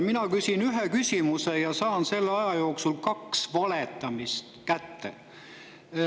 Mina küsin ühe küsimuse ja saan selle aja jooksul kaks valetamist kätte.